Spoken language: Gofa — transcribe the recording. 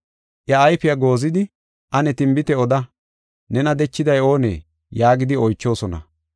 Iya ayfiya goozidi “Ane tinbite oda; nena dechiday oonee?” yaagidi oychoosona.